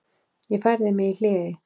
Ég færði mig í hléi.